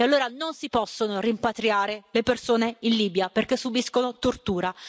E allora non si possono rimpatriare le persone in Libia perché subiscono tortura.